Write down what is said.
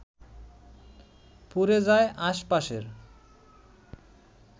পুড়ে যায় আশপাশের